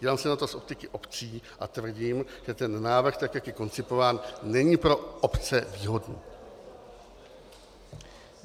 Dívám se na to z optiky obcí a tvrdím, že ten návrh, tak jak je koncipován, není pro obce shodný (?).